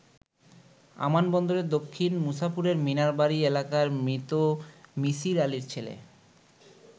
আমান বন্দরের দক্ষিণ মুছাপুরের মিনার বাড়ি এলাকার মৃত মিছির আলীর ছেলে।